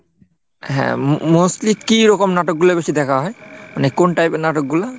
হ্যাঁ, mo~mostly কি রকম নাটক গুলো বেশি দেখা হয়? মানে কোন type এর নাটকগুলো?